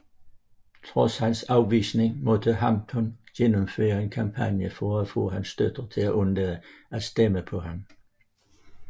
Trods hans afvisning måtte Hampton gennemføre en kampagne for at få hans støtter til at undlade at stemme på ham